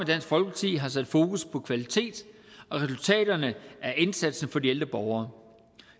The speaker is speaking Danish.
dansk folkeparti har sat fokus på kvalitet og resultaterne af indsatsen for de ældre borgere